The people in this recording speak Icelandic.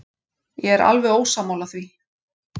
Ég er alveg ósammála því.